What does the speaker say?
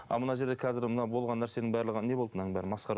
а мына жерде қазір мына болған нәрсенің барлығы не болды мынаның барлығы масқара